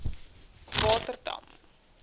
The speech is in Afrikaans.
waterdam